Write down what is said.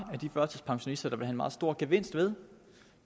af de førtidspensionister der vil have en meget stor gevinst ved